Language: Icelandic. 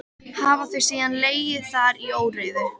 Hafa þau síðan legið þar í óreiðu.